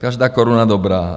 Každá koruna dobrá.